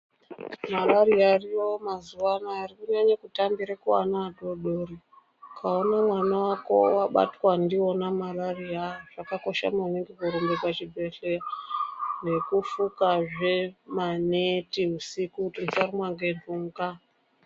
Mararira ariyo mazuva ano Ari kunyanyira kutambira vana vadodori kuana adodori akaona mwana wako mudodori akabatwa ndiona mararia zvakakosha maningi kurumba kuzvibhedhlera nekushuka zvemaneti husiku usarumwa nembuka.